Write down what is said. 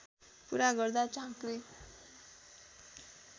पूरा गर्दा झाँक्री